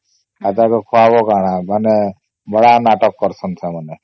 ଏଟାକୁ ଖୁଆଇବା କଣ ମାନେ ବଢିଆ ନାଟକ କ୍ରୁସଏନ ସେମାନେ